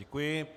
Děkuji.